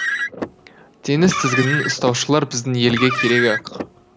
теңіз тізгінін ұстаушылар біздің елге керек ақ